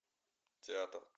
театр